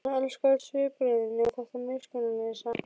Hann elskaði öll svipbrigðin nema þetta miskunnarlausa.